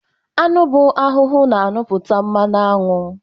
aṅụ bụ ahụhụ na-aṅụ pụta mmanụ aṅụ